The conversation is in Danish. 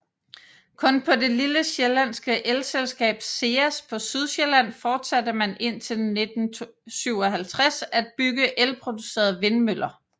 Kun hos det lille sjællandske elselskab SEAS på Sydsjælland fortsatte man indtil 1957 at bygge elproducerende vindmøller